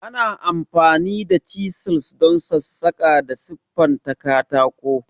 Ana amfani da chisels don sassaƙa da siffanta katako.